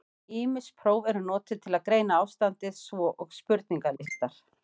Ýmis próf eru notuð til að greina ástandið, svo og spurningalistar.